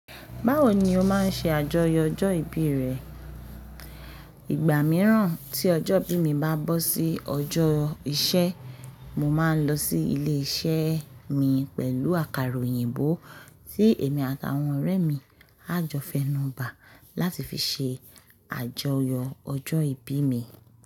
Báwo ni o máa ń ṣe àjọyọ̀ ọjọ́ ìbí rẹ? Ìgbà mìíràn tí ọjọ́ ìbí mi bá bọ́ sí ọjọ́ iṣẹ́, mo máa ń lọ sí ilé iṣẹ́ mi pẹ̀lú àkàrà òyìnbó tí èmi àtàwọn ọ̀rẹ́ mi á jọ fẹnu bà láti fi ṣe àjọyọ̀ ọjọ́ ìbí mi.